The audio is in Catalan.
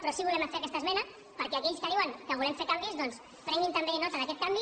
però sí que volem fer aquesta esmena perquè aquells que diuen que volem fer canvis doncs prenguin també nota d’aquest canvi